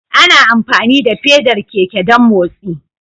Ana amfani da fedar keke don motsi